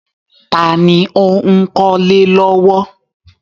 Ta ni ó ń kọ́lé lọ́wọ́?